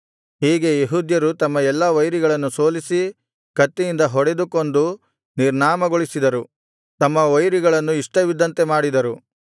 ಹೀಗೆ ಯೆಹೂದ್ಯರು ತಮ್ಮ ಎಲ್ಲಾ ವೈರಿಗಳನ್ನು ಸೋಲಿಸಿ ಕತ್ತಿಯಿಂದ ಹೊಡೆದು ಕೊಂದು ನಿರ್ನಾಮಗೊಳಿಸಿದರು ತಮ್ಮ ವೈರಿಗಳನ್ನು ಇಷ್ಟವಿದ್ದಂತೆ ಮಾಡಿದರು